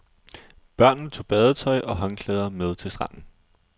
Børnene tog badetøj og håndklæder med til stranden.